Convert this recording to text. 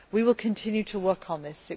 We will continue to work on this.